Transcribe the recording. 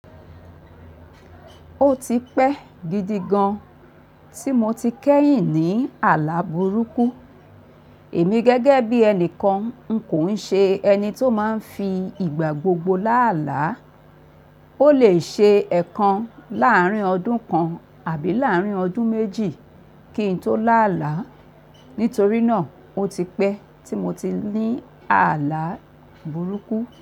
Ó ti pẹ́ gidi gan tí mo ti kẹ́yìn ní àlá burúkú. Èmi gẹ́gẹ́ bí ẹnìkan n kò ṣe ẹni tó máa ń fi ìgbà gbogbo lá àlá. Ó lè ṣe ẹ̀ẹ̀kan láàárín ọdún kan àbí láàárín ọdún méjì kí n tó lá àlá. Nítorí náà ó ti pẹ́ tí mo ti ní àlá burúkú.